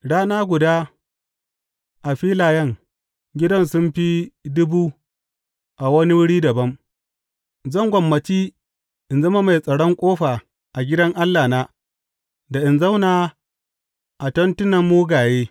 Rana guda a filayen gidan sun fi dubu a wani wuri dabam; zan gwammaci in zama mai tsaron ƙofa a gidan Allahna da in zauna a tentunan mugaye.